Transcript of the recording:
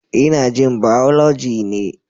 Ina jin Biology ne.